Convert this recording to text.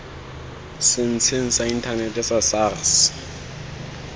setsheng sa inthanete sa sars